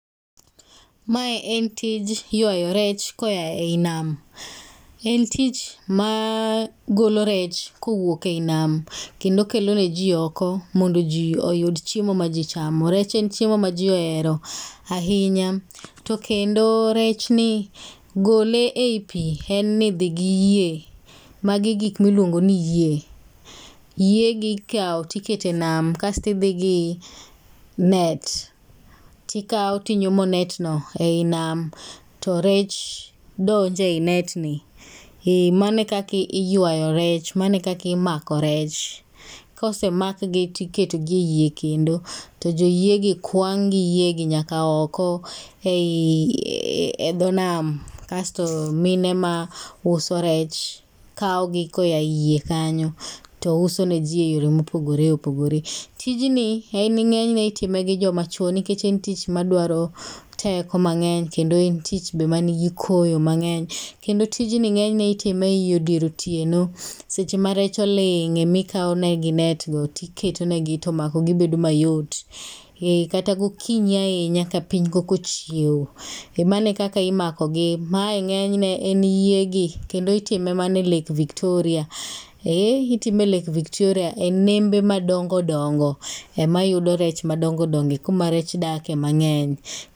Mae en tij ywayo rech koya ei nam. En tich ma golo rech kowuok ei nam kendo kelo ne ji oko mondo ji oyud chiemo ma ji chamo. Rech en chiemo ma ji ohero ahinya. To kendo rech ni gole ei pi en ni dhi gi yie. Magi e gik ma iluongo ni yie. Yie gi ikawo to ikete nam kasto idho gi net. Tikawo tinyumo net no ei nam, to rech donjo ei net ni. Ee mano e kaka iywayo rech. Mano e kaka imako rech. Kosemakgi tiketogi ei yie kendo, to jo yiegi kwang' gi yie gi nyaka oko ei e dho nam. Kasto mine ma uso rech kawo gi koya yie kanyo touso ne ji e yore mopogore opogore. Tijni en ng'enyne itime gi joma chwo nikech en tich madwaro teko mang'eny, kendo en tich manigi koyo be mang'eny. Kendo tijni ng'enyne ei dier otieno seche ma rech oling ema ikawo negi net no, to iketonegi to makogi bedo mayot. Ee kata gokinyi ahinya ka piny koka ochiewo, e mano e kaka imakogi. Mae ng'enyne en yiegi, kendo itime mana e lake Victoria. Ee itime e lake Victoria, e nembe madongo dongo ema iyudo rech madongo dongo. E kuma rech dake mang'eny.